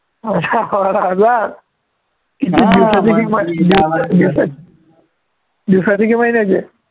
दहा बारा हजार किती दिवसाचे दिवसाचे की महिन्याचे